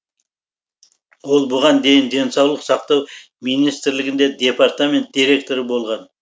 ол бұған дейін денсаулық сақтау министрлігінде департамент директоры болған